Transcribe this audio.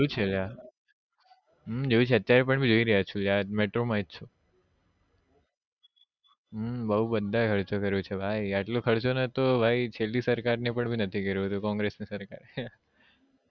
હમ જોયું છે લ્યા જોયું છે અત્યાર પણ જોઈ જ રહ્યા છો metro માં જ છું બઉ બધા એ ખર્ચો કર્યો છે ભાઈ આટલો ખર્ચો નતો ભાઈ છેલ્લી સરકાર ને પણ નતો કર્યો કોંગ્રેસ સરકારે